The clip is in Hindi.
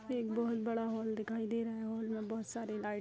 एक बहुत बड़ा हॉल दिखाई दे रहा है हॉल में बहुत सारी लाइट --